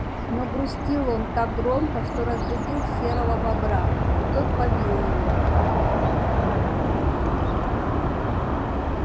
но грустил он так громко что разбудил серого бобра и тот побил его